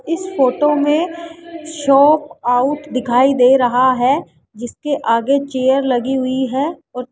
इस फोटो में shop out दिखाई दे रहा है जिसके आगे चेयर लगी हुई है और --